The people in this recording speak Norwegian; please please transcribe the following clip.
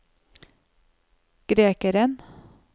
grekeren